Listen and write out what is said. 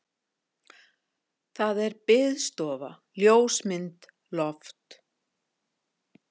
Það er biðstofa, ljósmynd, loft.